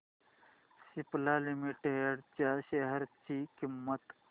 Cipla limited च्या share ची किंमत